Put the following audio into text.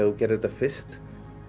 þú gerðir þetta fyrst